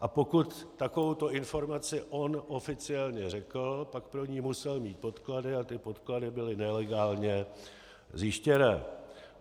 A pokud takovouto informaci on oficiálně řekl, pak pro ni musel mít podklady a ty podklady byly nelegálně zjištěné.